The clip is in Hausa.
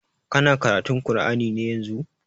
Kana karatun kur'ani ne yanzun?